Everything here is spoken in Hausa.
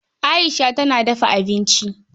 Aisha tana dafa abinci.